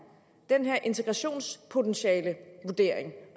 den her integrationspotentialevurdering